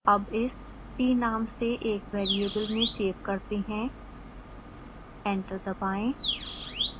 अब इस t नाम से एक वेरिएबल में सेव करते हैं एंटर दबाएं